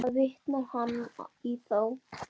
Þess í stað vitnar hann í þá.